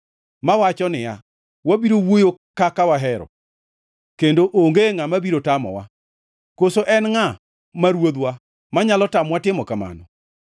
mawacho niya, “Wabiro wuoyo kaka wahero; kendo onge ngʼama biro tamowa. Koso en ngʼa ma ruodhwa manyalo tamowa timo kamano?”